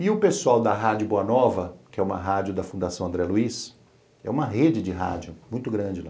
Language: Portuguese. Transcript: E o pessoal da Rádio Boa Nova, que é uma rádio da Fundação André Luiz, é uma rede de rádio muito grande lá.